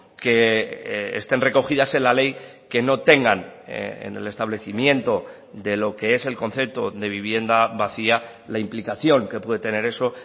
que estén recogidas en la ley que no tengan en el establecimiento de lo que es el concepto de vivienda vacía la implicación que puede tener eso